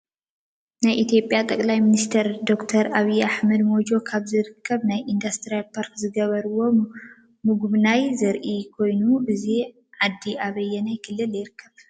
ናይ ኢትዮጲያጠቅላይ ሚኒስተር ዶክተር አብይ አሕመድ ሞጆ ካብ ዝርከብ ናይ ኢድስትሪ ፓርክ ዝገበርዎ ምጉብናይ ዘሪኢ ኮይኑ እዚ ዓዲ አበየናይ ክልል ይርከብ?